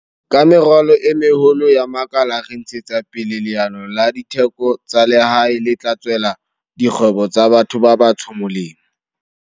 Ka meralo e meholo ya makala re ntshetsa pele leano la ditheko tsa lehae le tla tswela dikgwebo tsa batho ba batsho molemo.